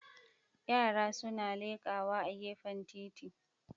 Yara suna lekawa a gefen titi